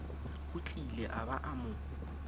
otlile a ba a mo